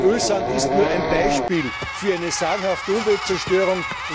Ölsand ist nur ein Beispiel für eine sagenhafte Umweltzerstörung.